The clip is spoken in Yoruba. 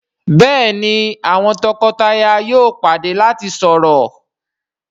Béèni àwọn toko-taya yóò pàdé lati sọrọ..